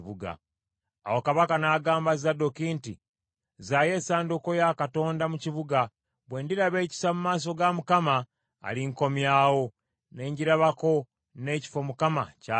Awo kabaka n’agamba Zadooki nti, “Zzaayo essanduuko ya Katonda mu kibuga. Bwe ndiraba ekisa mu maaso ga Mukama , alinkomyawo, ne ngirabako n’ekifo Mukama ky’abeeramu.